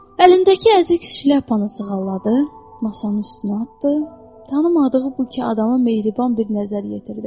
Əlindəki əzik şlyapanı sığalladı, masanın üstünə atdı, tanımadığı bu iki adama mehriban bir nəzər yetirdi.